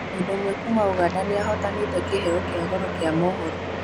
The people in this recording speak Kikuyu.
Mũndũ ũmwe kuma ũganda nĩahotanĩte kĩheo kĩa goro kĩa mohoro